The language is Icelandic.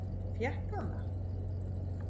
Fékk hann það?